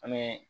An bɛ